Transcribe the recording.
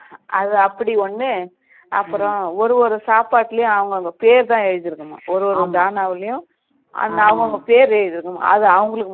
அது அப்படி ஒன்னு அப்பறோம் ஒரு ஒரு சாப்பாட்டுலயும் அவங்க அவங்க பேரு எழுதி இருக்குமா ஒரு ஒரு பேனாவுலயும் அவங்க பேரு எழுதி இருக்குமா